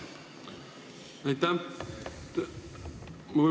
Aitäh!